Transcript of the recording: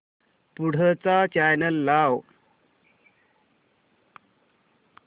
पुढचा चॅनल लाव